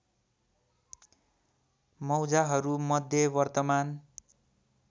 मौजाहरू मध्ये वर्तमान